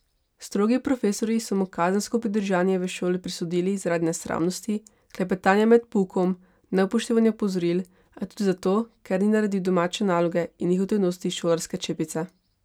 Strogi profesorji so mu kazensko pridržanje v šoli prisodili zaradi nesramnosti, klepetanja med poukom, neupoštevanja opozoril, a tudi zato, ker ni naredil domače naloge in ni hotel nositi šolarske čepice.